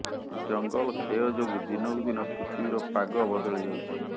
ଜଙ୍ଗଲ କ୍ଷୟ ଯୋଗୁଁ ଦିନକୁ ଦିନ ପୃଥିବୀର ପାଗ ବଦଳି ଯାଉଛି